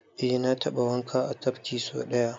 Eh na taɓa wanka a tafki so ɗaya.